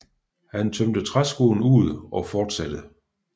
Han tømte træskoen ud og fortsatte